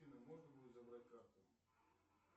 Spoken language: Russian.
афина можно будет забрать карту